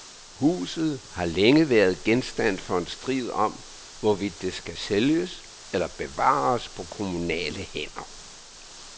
Huset har længe været genstand for en strid om, hvorvidt det skal sælges eller bevares på kommunale hænder.